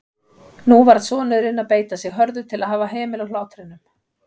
Nú varð sonurinn að beita sig hörðu til að hafa hemil á hlátrinum.